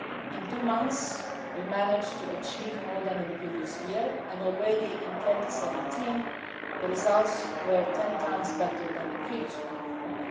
In two months we managed to achieve more than in the previous year and already in 2017 the results were 10 times better than the previous one, than